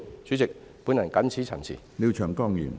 主席，我謹此陳辭。